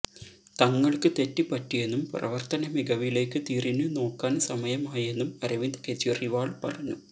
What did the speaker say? തങ്ങൾക്ക് തെറ്റ് പറ്റിയെന്നും പ്രവർത്തന മികവിലേക്ക് തിരിഞ്ഞ് നോക്കാൻ സമയമായെന്നും അരവിന്ദ് കേജ്രിവാൾ പറഞ്ഞു